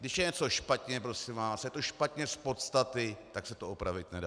Když je něco špatně, prosím vás, je to špatně z podstaty, tak se to opravit nedá.